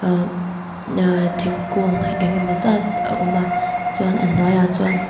amm naa thingkung enge maw zat a awm a chuan a hnuaiah chuan--